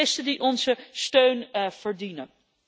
Journalisten, die onze steun verdienen.